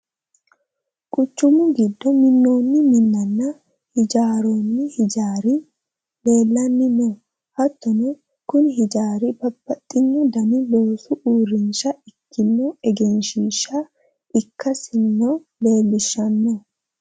quchumu giddo minnoonni minnanna hijaarroonni hijaari leelanni no hattono kuni hijaari babbaxino dani loosu uurrinsha ikkino egenshiishsha ikkasino leelishshanno .